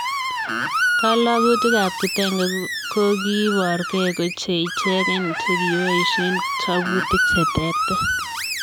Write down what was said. Kologutik ab kitenge kokiborkee ko che ichegen chikipoisien choputik che terter